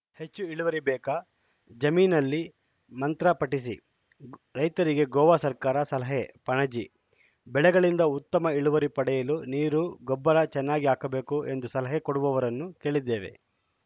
ಹೆಚ್ಚು ಇಳುವರಿ ಬೇಕಾ ಜಮೀನಲ್ಲಿ ಮಂತ್ರ ಪಠಿಸಿ ರೈತರಿಗೆ ಗೋವಾ ಸರ್ಕಾರ ಸಲಹೆ ಪಣಜಿ ಬೆಳೆಗಳಿಂದ ಉತ್ತಮ ಇಳುವರಿ ಪಡೆಯಲು ನೀರು ಗೊಬ್ಬರ ಚೆನ್ನಾಗಿ ಹಾಕಬೇಕು ಎಂದು ಸಲಹೆ ಕೊಡುವವರನ್ನು ಕೇಳಿದ್ದೇವೆ